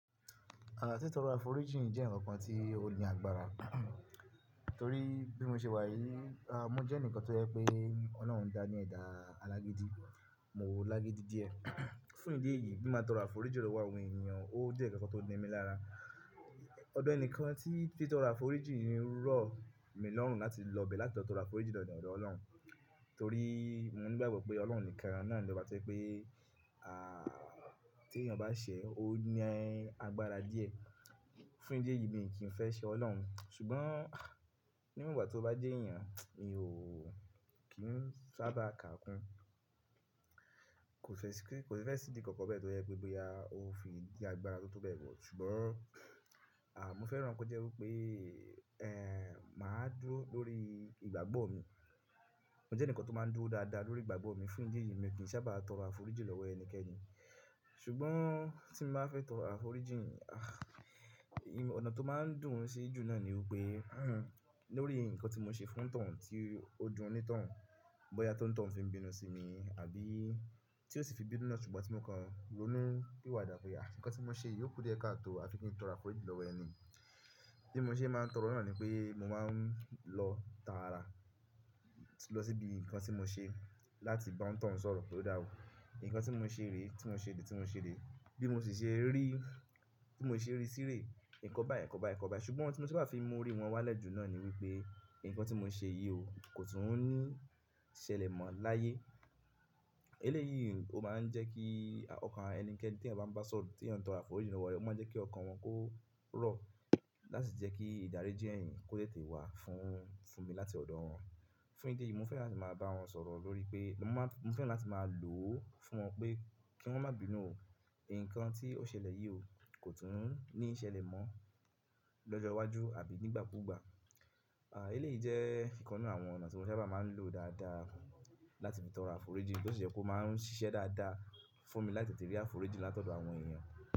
Àà tí tóro afòríjìn jẹ́ ǹkan kan tí ó ní agbára, torí bí mo ṣe wà yìí, à mo jẹ́ ẹnìkan tó yẹ pé Ọlọ́run dá ní ẹ̀dá alágídí, mo lágídí díẹ̀. Fún ìdí èyí bí máa tọ ra fòríjìn lọ́wọ́ àwọn ènìyàn, ó jẹ kankan tó n ni mi lára. Ọ̀dọ̀ ẹnìkan tí titọrọ afòríjìn rọ̀ mi lọ́run láti lọ bẹ̀ẹ̀ láti lọ tọrọ afòríjìn lọ́dọ̀ Ọlọ́run. Torí mo ní ìgbàgbọ́ pé Ọlọ́run nìkan náà lọ́ bá tẹ́ pé à tí ènìyàn bá ṣẹ̀ ọ́ ní ẹ́ agbára díẹ̀. Fún ìdí èyí mi kì í fẹ́ ṣẹ Ọlọ́run, ṣùgbọ́n ní ìwọn gba ti ó bá jẹ́ èèyàn, mi ò kí n sábà kà kún. Kò si fẹ́ sìdí kankan bẹ́ẹ̀ tó yẹ pé bóyá ó n fi jẹ́ agbára tó tọ́ bẹ́ẹ̀ wọ̀. Ṣùgbọ́n à mo fẹ́ran ko jẹ́ wípé ẹ máa dúró lórí ìgbàgbọ́ mi. Mo jẹ́ ẹnìkan tó máa ń dúró dáadáa lórí ìgbàgbọ́ mi. Fún ìdí èyí mi kì í sábà tọ ra fòríjìn lọ́wọ́ ẹnikẹ́ni. Ṣùgbọ́n tí mo bá fẹ́ tọrọ afòríjìn, à ì ọ̀nà tó máa ń dùn sí jù náà ni wípé lórí ǹkan tí mo ṣe fún tàn tí ó dun oní tọun, bóyá toni tọun fi ń bínú sí mi àbí tí ó sì fi bínú náà ṣùgbọ́n tí mo kan ronú piwàdà pé à ǹkan tí mo ṣe yóò kúrú yẹ ká tó à ti pẹ́ kí n tọ ra fòríjìn lọ́wọ́ ẹni. Bí mo ṣe máa ń tọrọ náà ni pé mo máa ń lọ ta ara lọ síbi ǹkan tí mo ṣe láti bá wọn tàn sọ̀rọ̀ ló dà ò. Ǹkan tí mo ṣe rè, tí mo ṣe dé, tí mo ṣe rè, bí mo sì ṣe rí, tí mo ṣe rí sí rè, ǹkan bá ẹ, ǹkan bá ẹ, ǹkan bá ẹ. Ṣùgbọ́n ohlun tí mo n sabá fi mú orí wọn wálẹ̀ jù náà ni wípé ǹkan tí mo ṣe yìí ò kò tún ń ní ṣẹ̀lẹ̀ mọ láyé. Eléyìí ó máa ń jẹ́ kí ọkàn ẹnikẹ́ni tí ẹ̀ bá ń bá sọ̀rọ̀ tí ẹ̀ ń tọ ra fòríjìn lọ́wọ́ rẹ̀, ó máa ń jẹ́ kí ọkàn wọn kó rọ̀ láti jẹ́ kí ìdáríjì èèyàn kó tètè wà fún fún mi láti ọ̀dọ̀ wọn. Fún ìdí èyí mo fẹ́ràn láti máa bá wọn sọ̀rọ̀ lórí pé mo máa mo fẹ́ràn láti máa lò ó fún wọn pé kí wọ́n má bínú o. Ǹkan tí ó ṣẹlẹ̀ yìí ò kò tún ń ní ṣẹ̀lẹ̀ mọ lọ́jọ́ iwájú àbí ní ìgbà kú ìgbà. À eléyìí jẹ́ ìkan n nfú àwọn ọ̀nà tí mo sábà máa ń lò dáadáa láti fi tọ ra fòríjìn tó sì jẹ́ kó máa ń ṣiṣẹ́ dáadáa fún mi láti tètè rí fòríjìn látọ̀dọ̀ àwọn èèyàn.